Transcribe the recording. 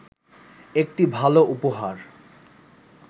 একটি ভালো উপহার